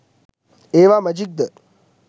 ඒවා මැජික්ද?